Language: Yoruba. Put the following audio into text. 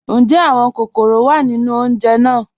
Njẹ́ awọn kọkọ́rọ́ wá nínu ọ̀unjè náà?